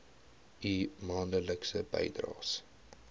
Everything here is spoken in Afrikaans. u maandelikse bydraes